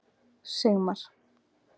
Sigmar